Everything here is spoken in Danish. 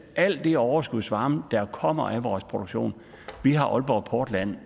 al den overskudsvarme der kommer af vores produktion vi har aalborg portland